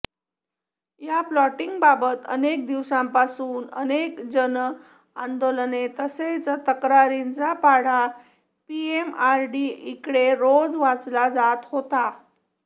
या प्लॉटिंगबाबत अनेक दिवसांपासून अनेक जनआंदोलने तसेच तक्रारींचा पाढा पीएमआरडीएकडे रोज वाचला जात होता